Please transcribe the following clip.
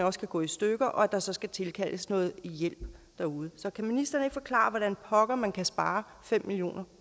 også kan gå i stykker og der så skal tilkaldes noget hjælp så kan ministeren ikke forklare mig pokker man kan spare fem million kroner